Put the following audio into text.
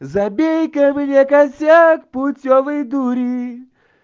забей-ка мне косяк путёвой дури